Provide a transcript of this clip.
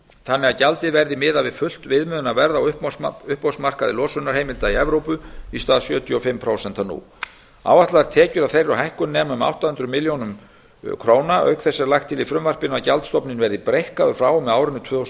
þannig að gjaldið verði miðað við fullt viðmiðunarverð á uppboðsmarkaði losunarheimilda í evrópu í stað sjötíu og fimm prósent nú áætlaðar tekjur af þeirri hækkun nema um átta hundruð milljóna króna auk þessa er lagt til í frumvarpinu að gjaldstofninn verði breikkaður frá og með árinu tvö þúsund